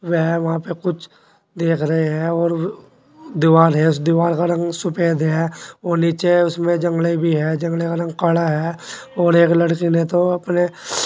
वेह वहां पे कुछ देख रहे हैं और दीवाल है उस दीवाल का रंग सुफेद है वो नीचे उसमें जंगड़े भी है जंगड़े का रंग काड़ा है और एक लड़की ने तो अपने--